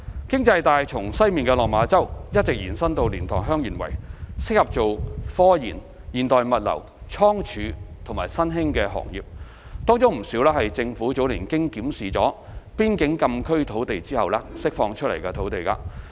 經濟帶從西面的落馬洲一直延伸至蓮塘/香園圍，適合作科研、現代物流、倉儲及新興行業，當中不少是政府早年經檢視邊境禁區土地後釋放出來的土地。